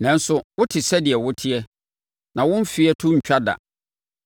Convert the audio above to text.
Nanso, wote sɛdeɛ woteɛ, na wo mfeɛ to rentwa da.